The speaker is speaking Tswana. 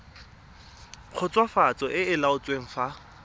khutswafatso e e laotsweng fa